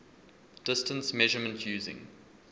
distance measurement using